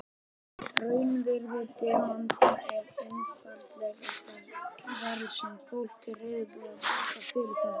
Raunvirði demanta er einfaldlega það verð sem fólk er reiðubúið að borga fyrir þá.